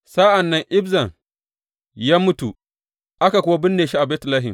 Sa’an nan Ibzan ya mutu, aka kuwa binne shi Betlehem.